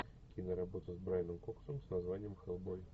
киноработа с брайаном коксом с названием хеллбой